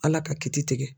Ala ka kiti tigɛ